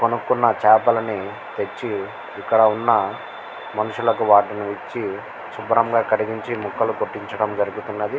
కొనుకున్న చేపలని తెచ్చి ఇక్కడ ఉన్న మనుషులకి వాటిని ఇచ్చి వాటిని శుభ్రంగా కడిగించి ముక్కల్లు కొట్టించడం జరుగుతునది.